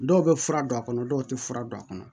Dɔw bɛ fura don a kɔnɔ dɔw tɛ fura don a kɔnɔ